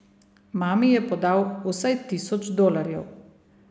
Mami je podal vsaj tisoč dolarjev.